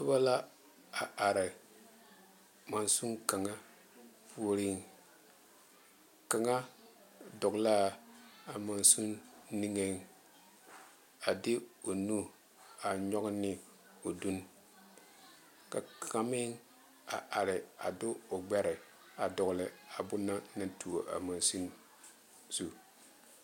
Noba la a are mansine puori kaŋa dogle la a mansine niŋe a de o nu a nyoŋ ne o don ka kaŋa meŋ a are a de o gbɛre a dogle a boŋ na naŋ tuo a mansine zu.